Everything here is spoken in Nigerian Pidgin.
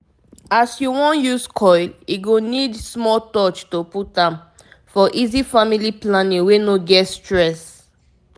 as u wan use coil e go need small touch to put am -for easy family planning wey no get stress